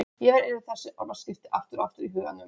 Ég fer yfir þessi orðaskipti aftur og aftur í huganum.